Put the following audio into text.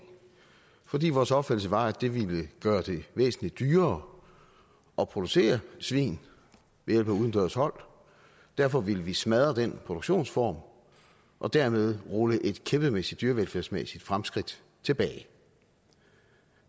fordi vores opfattelse var at det ville gøre det væsentlig dyrere at producere svin ved hjælp af udendørs hold derfor ville vi smadre den produktionsform og dermed rulle et kæmpemæssigt dyrevelfærdsmæssigt fremskridt tilbage